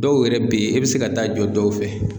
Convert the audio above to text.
Dɔw yɛrɛ be yen e be se ka taa jɔ dɔw fɛ